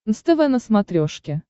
нств на смотрешке